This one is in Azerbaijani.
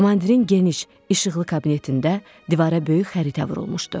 Komandirin geniş, işıqlı kabinetində divara böyük xəritə vurulmuşdu.